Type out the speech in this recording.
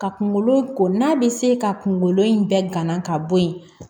Ka kungolo ko n'a bɛ se ka kungolo in gana ka bɔ yen